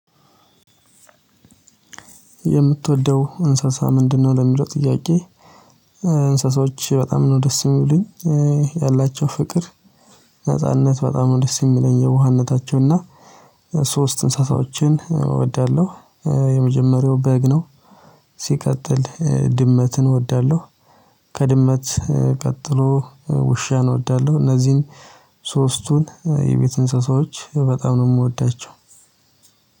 የምትወደው እንስሳ ምንድነው? ለሚለው ጥያቄ እንስሳዎች በጣም ነው ደስ የሚሉኝ ያላቸው ፍቅር ነጻነት በጣም ነው ደስ የሚለኝ የዋህነታቸው እና ሶስት እንስሳቶችን እወዳለሁ። የመጀመሪያው በግ ነው። ሲቀጥል ድመትን እወዳለሁ። ከድመት ቀጥሎ ውሻን እወዳለሁ። እነዚህን ሶስቱን የቤት እንስሳዎች በጣም ነው የምወዳቸው።